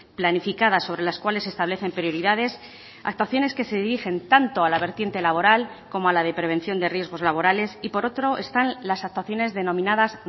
planificadas sobre las cuales establecen prioridades actuaciones que se dirigen tanto a la vertiente laboral como a la de prevención de riesgos laborales y por otro están las actuaciones denominadas